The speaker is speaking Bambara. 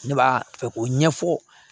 Ne b'a fɛ k'o ɲɛfɔ